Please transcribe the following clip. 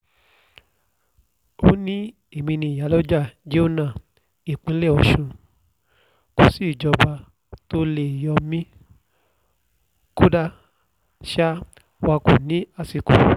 ó ní èmi ni iyálójà-jèhónà nípínlẹ̀ ọ̀sùn kò sí ìjọba tó lè yọ mí kódà sáà wá kò ní àsìkò